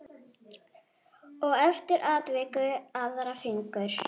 Og eftir atvikum aðra fingur.